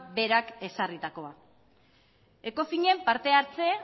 berak ezarritakoa ecofinen partehartze